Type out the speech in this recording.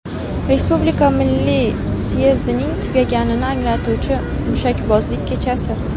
Respublika milliy syezdining tugaganini anglatuvchi mushakbozlik kechasi.